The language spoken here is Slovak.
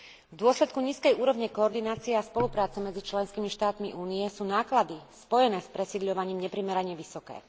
V dôsledku nízkej úrovne koordinácie a spolupráce medzi členskými štátmi Únie sú náklady spojené s presídľovaním neprimerane vysoké.